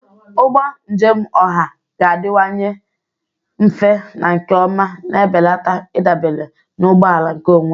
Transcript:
Ụgbọ njem ọha ga-adịwanye mfe na nke ọma, na-ebelata ịdabere na ụgbọ ala nkeonwe.